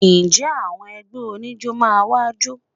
Ǹjẹ́ àwọn ẹgbẹ́ oníjó máa wá jó?